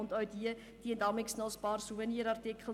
diese verkaufen jeweils zusätzlich ein paar Souvenirartikel.